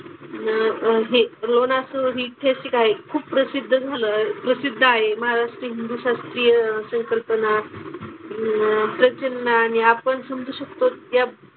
अन अह हे लोणार सरोवर हि ऐतिहासिक आहे. खूप प्रसिद्ध झालं प्रसिद्ध आहे. महाराष्ट्र हिंदू शास्त्रीय संकल्पना अह प्रसन्न आणि आपण समजू शकतो त्या,